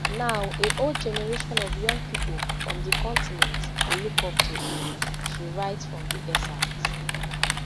now a whole generation of young pipo from di continent dey look up to him she write for di excerpt